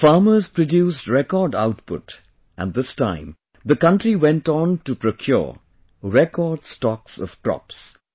The farmers produced record output and this time the country went on to procure record amount of crops